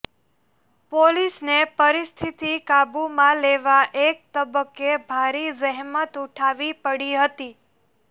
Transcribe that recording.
પોલીસને પરિસ્થિતિ કાબૂમાં લેવા એક તબક્કે ભારે જહેમત ઉઠાવવી પડી હતી